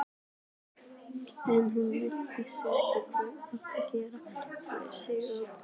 En hún virtist ekki geta hreyft sig á gólfinu.